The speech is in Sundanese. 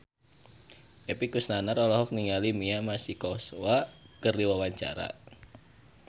Epy Kusnandar olohok ningali Mia Masikowska keur diwawancara